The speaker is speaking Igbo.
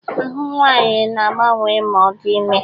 Ahụ nwaanyị na-agbanwe ma ọ dị ime